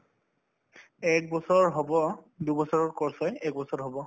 একবছৰ হব দুবছৰৰ course হয় এবছৰ হব